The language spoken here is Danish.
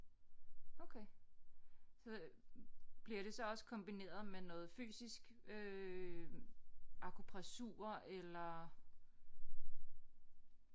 Okay så bliver det så også kombineret med noget fysisk øh akupressur eller